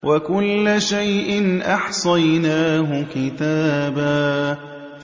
وَكُلَّ شَيْءٍ أَحْصَيْنَاهُ كِتَابًا